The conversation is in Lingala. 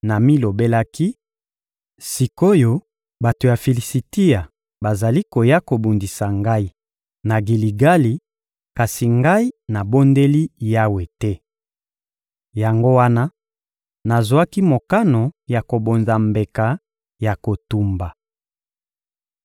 namilobelaki: «Sik’oyo, bato ya Filisitia bazali koya kobundisa ngai na Giligali, kasi ngai nabondeli Yawe te!» Yango wana, nazwaki mokano ya kobonza mbeka ya kotumba.